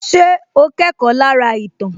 Ṣé o kẹ́kọ̀ọ́ lára ìtàn